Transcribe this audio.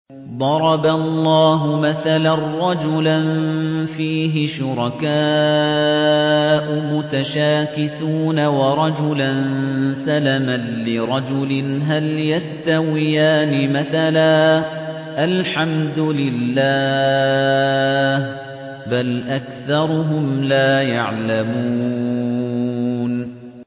ضَرَبَ اللَّهُ مَثَلًا رَّجُلًا فِيهِ شُرَكَاءُ مُتَشَاكِسُونَ وَرَجُلًا سَلَمًا لِّرَجُلٍ هَلْ يَسْتَوِيَانِ مَثَلًا ۚ الْحَمْدُ لِلَّهِ ۚ بَلْ أَكْثَرُهُمْ لَا يَعْلَمُونَ